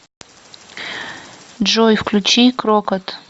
джой включи крокот